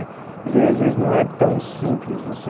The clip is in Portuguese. Às vezes, não é tão simples você